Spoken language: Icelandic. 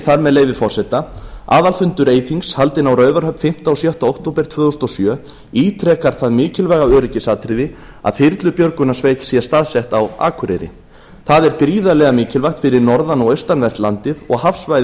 þar með leyfi forseta aðalfundur eyþings haldinn á raufarhöfn fimmta og sjötta október tvö þúsund og sjö ítrekar það mikilvæga öryggisatriði að þyrlubjörgunarsveit sé staðsett á akureyri það er gríðarlega mikilvægt fyrir norðan og austanvert landið og hafsvæðið